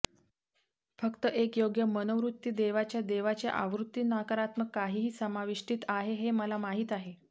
फक्त एक योग्य मनोवृत्ती देवाच्या देवाच्या आवृत्ती नकारात्मक काहीही समाविष्टीत आहे हे मला माहीत आहे